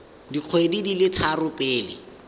dikgwedi di le tharo pele